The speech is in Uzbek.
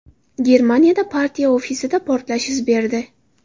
Germaniyada partiya ofisida portlash yuz berdi.